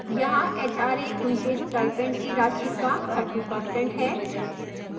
यहाँ hra उनके stipend की राशि का 30% है